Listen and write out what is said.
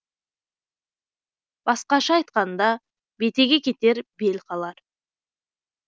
басқаша айтқанда бетеге кетер бел қалар